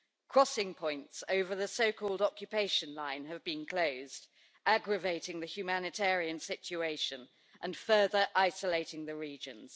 Crossing points over the so called occupation line have been closed, aggravating the humanitarian situation and further isolating the regions.